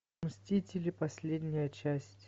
мстители последняя часть